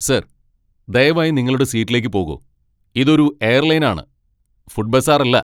Sir, ദയവായി നിങ്ങളുടെ സീറ്റിലേക്ക്പോകൂ. ഇതൊരു എയർലൈനാണ്, ഫുഡ് ബസാറല്ല!